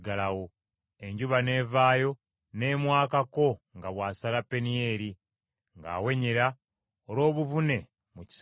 Enjuba n’evaayo ne mwakako nga bw’asala Penieri, ng’awenyera olw’obuvune mu kisambi kye.